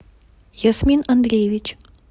ясмин андреевич